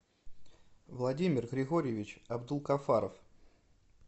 владимир григорьевич абдулкафаров